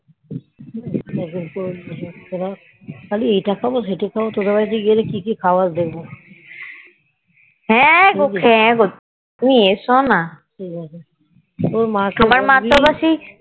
একদিন করে নিয়ে এসব তোর খালি এটা খাবো ওটা খাবো তোদের বাড়িতে গেলে কিকি খাওয়াস দেখবো হ্যাঁ হ্যাঁ গো তুমি এস না ঠিকাছে